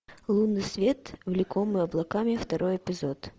лунный свет влекомый облаками второй эпизод